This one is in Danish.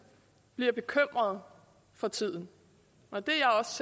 bliver bekymret for tiden og det